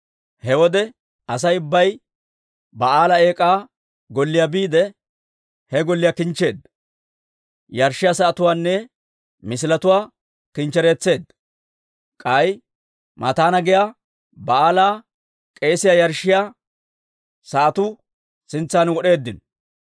He wode Asay ubbay Ba'aala Eek'aa Golliyaa biide, he golliyaa kinchcheedda; yarshshiyaa sa'atuwaanne misiletuwaa kinchchereetseedda. K'ay Mataana giyaa Ba'aala k'eesiyaa yarshshiyaa sa'atuu sintsan wod'eeddino.